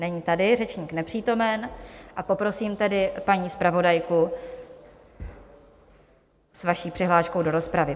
Není tady, řečník nepřítomen, a poprosím tedy paní zpravodajku s vaší přihláškou do rozpravy.